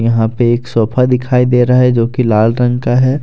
यहां पे एक सोफा दिखाई दे रहा है जोकि लाल रंग का है।